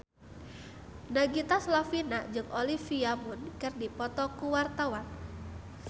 Nagita Slavina jeung Olivia Munn keur dipoto ku wartawan